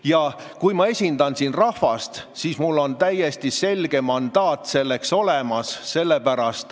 Ja kui ma esindan siin rahvast, siis mul on täiesti selge mandaat selleks olemas.